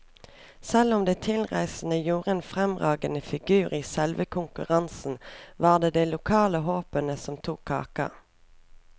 Selv om de tilreisende gjorde en fremragende figur i selve konkurransen, var det de lokale håpene som tok kaka.